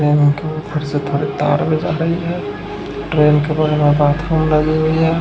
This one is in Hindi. ट्रेन के ऊपर से थोड़ी तार भी जल रही हैं। ट्रेन के बगल में बाथरूम लगी हुई है।